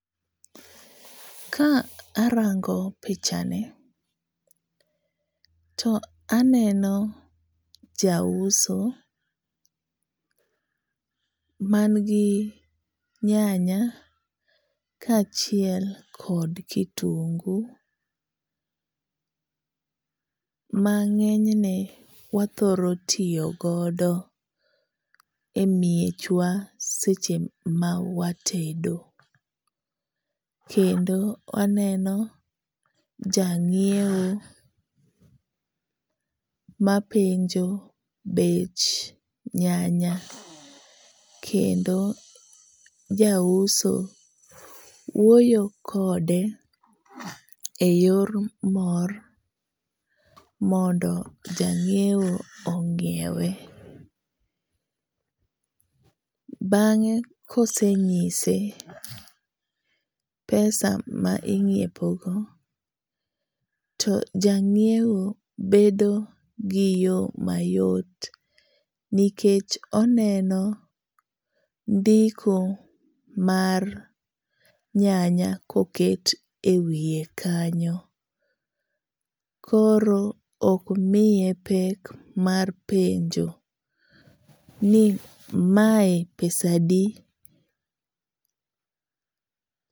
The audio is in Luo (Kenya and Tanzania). Ka arango picha ni, to aneno jauso man gi nyanya kaachiel kod kitungu mang'eny ne wathoro tiyo godo emiechwa seche ma watedo. Kendo aneno janyiewo mapenjo bech nyanya kendo jauso wuoyo kode eyor mor mondo janyiewo onyiewe. Bang'e ka osenyise pesa ma inyiepogo to ja nyiewo bedo gi yo mayot nikech oneno ndiko mar nyanya koket ewiye kanyo koro ok miye pek mar penjo ni mae pesa adi.